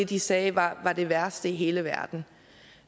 de sagde var det værste i hele verden